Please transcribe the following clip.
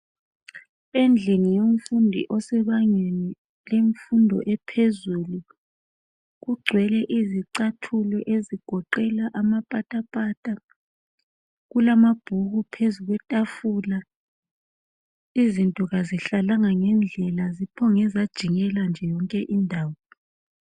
Endlini yomfundi osebangeni lemfundo ephezulu ,kugcwele izicathulo ezigoqela amapatapata .Kulamabhuku phezu kwetafula, izinto kazihlalanga ngendlela ziphonge zajikela nje yonke indawo .